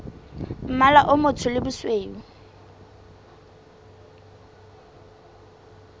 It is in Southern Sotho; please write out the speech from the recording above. mmala o motsho le bosweu